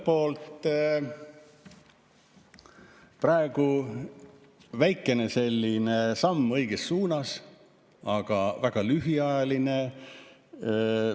Ühelt poolt praegu väikene samm õiges suunas, aga väga lühiajaline.